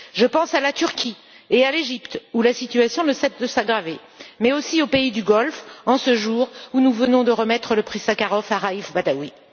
Je pense à la Turquie et à l'Égypte, où la situation ne cesse de s'aggraver, mais aussi aux pays du Golfe, en ce jour où nous venons de remettre le prix Sakharov à Raïf Badawi.